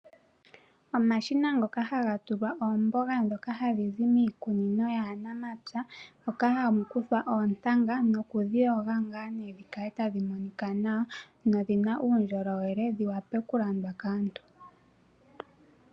Omashina ngoka haga tulwa oombanga ndhoka hadhizi miikunino yaanamapya moka hamu kuthwa oontanga nokudhi yoga dhikale tadhimonika nawa,, nodhina uundjolowele dhi wape okulandwa kaantu.